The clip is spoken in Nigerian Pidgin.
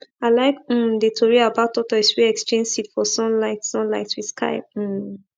i like um the tori about tortoise wey exchange seed for sunlight sunlight with sky um